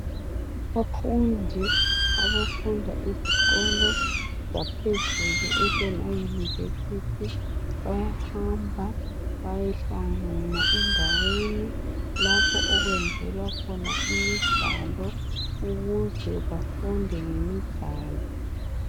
abafundi abafunda ezikolo zaphezulu ema university bayahamba bayehlangana endaweni lapho okwenzelwa khona imidlalo ukuze bafunde ngemidlalo